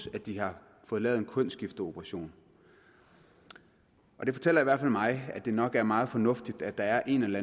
at de har fået lavet en kønsskifteoperation det fortæller i hvert fald mig at det nok er meget fornuftigt at der er en eller